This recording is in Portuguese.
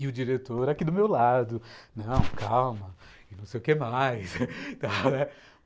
E o diretor aqui do meu lado, não, calma, não sei o que mais